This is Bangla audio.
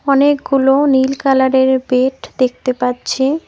অনেকগুলো নীল কালারের বেড দেখতে পাচ্ছি।